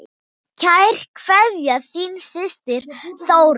Kær kveðja, þín systir Þórey.